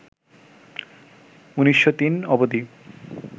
১৯০৩ অবধি